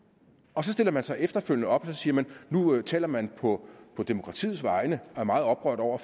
og så stiller man sig efterfølgende op og siger at nu taler man på demokratiets vegne og er meget oprørt over